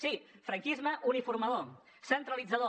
sí franquisme uniformador centralitzador